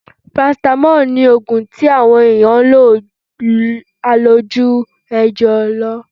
Parasítámọ̀ ní oògun tí wọn èèyàn ń lo àlòjù rẹ̀ jù lọ..